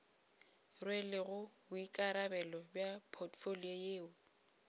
rwelego boikarabelo bja potfolio yeo